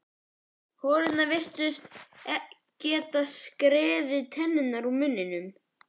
Holurnar virtust geta skekið tennur úr munninum.